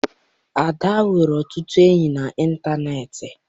Ada nwere ọtụtụ ndị enyi na intaneeti.